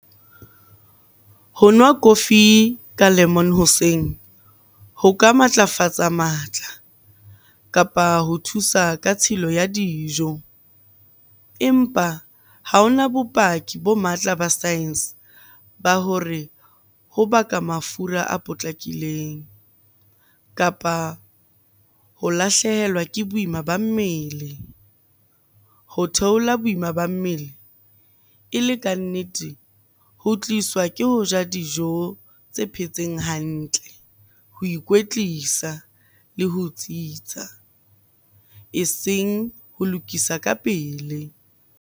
Ho nwa kofi ka lemon hoseng ho ka matlafatsa matla, kapa ho thusa ka tshilo ya dijo. Empa ha hona bopaki bo matla ba science ba hore ho baka mafura a potlakileng, kapa ho lahlehelwa ke boima ba mmele. Ho theola boima ba mmele e le kannete ho tliswa ke ho ja dijo tse phetseng hantle, ho ikwetlisa le ho tsitsa e seng ho lokisa ka pele.